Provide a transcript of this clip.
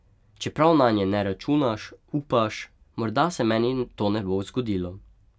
Čeprav nanje ne računaš, upaš, morda se meni to ne bo zgodilo.